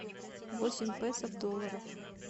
восемь песо в долларах